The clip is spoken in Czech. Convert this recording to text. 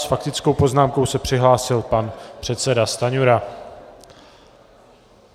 S faktickou poznámkou se přihlásil pan předseda Stanjura.